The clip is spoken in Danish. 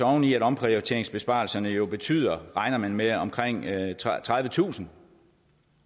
oven i at omprioriteringsbesparelserne jo betyder regner man med at omkring tredivetusind